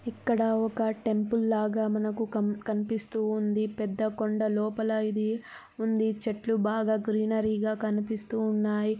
ఇక్కడ ఒక్క టెంపుల్ లాగా మనకు కం-కనిపిస్తూ ఉంది పెద్ద కొండ లోపల ఇది ఉంది చెట్లు బాగా గ్రీనరి గా కనిపిస్తున్నాయి .